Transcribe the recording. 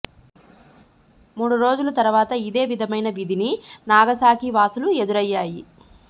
మూడు రోజుల తరువాత ఇదే విధమైన విధిని నాగసాకి వాసులు ఎదురయ్యాయి